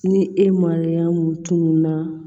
Ni e mariyamu tunun na